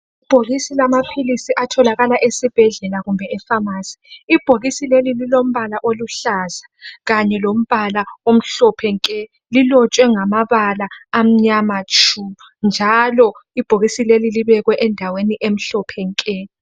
ibhokisi lamaphilisi atholakala esibhedlela kumbe e phamarcy ibhokisi leli lilombala oluhlaza kanye lombala omhlophe nke lilotshwe ngamabala amnyama tshu njalo ibhokisi leli libekwe endaweni emhlophe nke